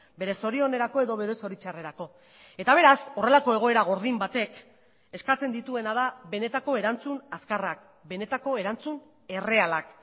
bere zorionerako edo bere zoritxarrerako eta beraz horrelako egoera gordin batek eskatzen dituena da benetako erantzun azkarrak benetako erantzun errealak